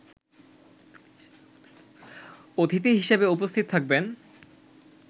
অতিথি হিসেবে উপস্থিত থাকবেন